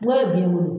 Ŋo ye biyɛn bolo